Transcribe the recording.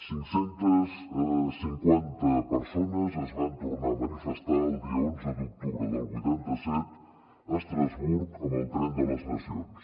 cinc centes cinquanta persones es van tornar a manifestar el dia onze d’octubre del vuitanta set a estrasburg amb el tren de les nacions